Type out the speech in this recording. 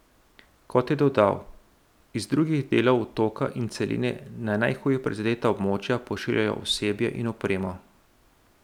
Kot je dodal, iz drugih delov otoka in celine na najhuje prizadeta območja pošiljajo osebje in opremo.